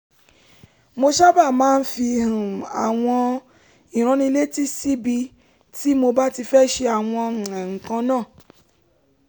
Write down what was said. mo sábà máa ń fi um àwọn ìránnilétí síbi tí mo bá ti fẹ́ ṣe àwọn um nǹkan kan